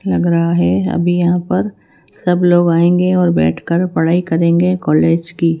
लग रहा है अभी यहां पर सब लोग आएंगे और बैठ कर पढ़ाई करेंगे कॉलेज की।